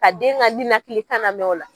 Ka den ka ninakili kan lamɛn o la.